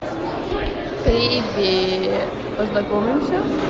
привет познакомимся